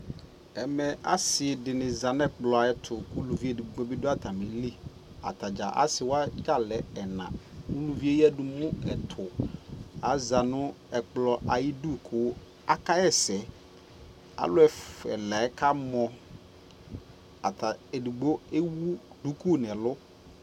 ɛmɛ asii dini zanʋ ɛkplɔ ayɛtʋ kʋ ʋlʋvi ɛdigbɔ bi dʋ atamili ,asii wagya lɛ ɛna ʋlʋviɛ ɛyadʋ mʋ ɛtʋ, aza nʋ ɛkplɔ ayidʋ kʋ aka yɛsɛ alʋ ɛlaɛ kamɔ, ɛdigbɔ ɛwʋ dʋkʋ nʋ ɛlʋ